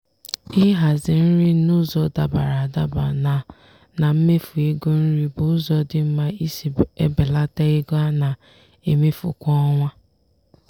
ịhazi nri n'ụzọ dabara adaba na na mmefu ego nri bụ ụzọ dị mma isi ebelata ego a na-emefu kwa ọnwa.